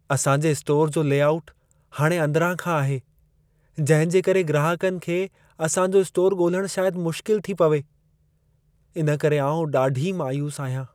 असां जे स्टोर जो लेआउट हाणे अंदिरां खां आहे, जंहिं जे करे ग्राहकनि खे असां जो स्टोर ॻोल्हण शायद मुश्किल थी पवे। इनकरे आउं ॾाढी मायूसु आहियां।